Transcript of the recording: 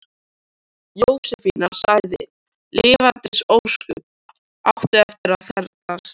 Jósefína sagði: Lifandis ósköp áttu eftir að ferðast.